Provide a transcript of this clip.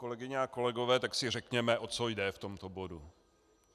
Kolegyně a kolegové, tak si řekněme, o co jde v tomto bodu.